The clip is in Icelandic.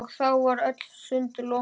Og þá voru öll sund lokuð!